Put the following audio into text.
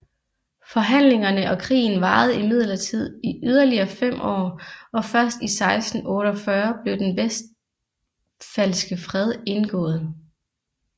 Forhandlingerne og krigen varede imidlertid i yderligere fem år og først i 1648 blev den Westfalske Fred indgået